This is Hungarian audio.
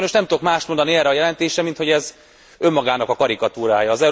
Sajnos nem tudok mást mondani erre a jelentésre, minthogy ez önmagának a karikatúrája.